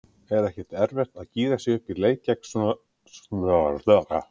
Er ekkert erfitt að gíra sig upp í leik gegn svoleiðis liði?